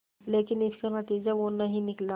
लेकिन इसका नतीजा वो नहीं निकला